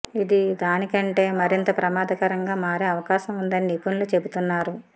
ఇది దానికంటే మరింత ప్రమాదకరంగా మారే అవకాశం ఉందని నిపుణులు చెబుతున్నారు